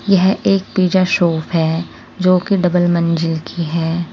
यह एक pizza shop है जो की डबल मंजिल की है।